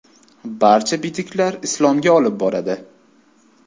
Barcha bitiklar Islomga olib boradi.